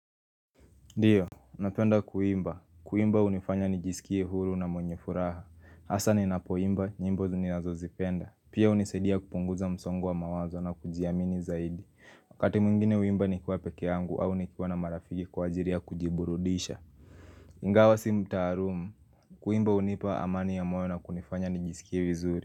Ndio, napenda kuimba. Kuimba hunifanya nijisikie huru na mwenye furaha. hAsa ni napoimba, nyimbo ninazozipenda. Pia hunisaidia kupunguza msongo wa mawazo na kujiamini zaidi. Wakati mwingine huimba nikiwa peke yangu au nikiwa na marafiki kwa ajili ya kujiburudisha. Ingawa si mtaalumu. Kuimba hunipa amani ya moyo na kunifanya nijisikie vizuri.